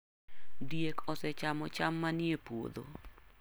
Diek osechamo cham manie puodho.